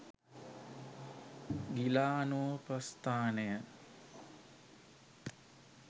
ගිලානෝපස්ථානය